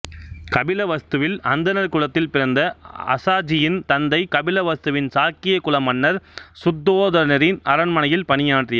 கபிலவஸ்துவில் அந்தணர் குலத்தில் பிறந்த அசாஜியின் தந்தை கபிலவஸ்துவின் சாக்கிய குல மன்னர் சுத்தோதனரின் அரண்மனையில் பணியாற்றியவர்